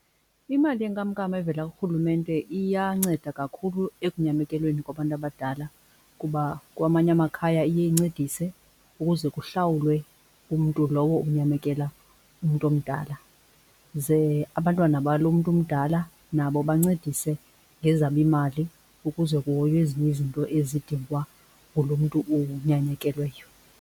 Imali yenkamnkam evela kuRhulumente iyanceda kakhulu ekunyamekelweni kwabantu abadala kuba kwamanye amakhaya iye incedise ukuze kuhlawulwe umntu lowo unyamekela umntu omdala ze abantwana balo mntu umdala nabo bancedise ngezabo iimali ukuze kuhoywe ezinye izinto ezidingwa ngulo mntu unyamekelweyo.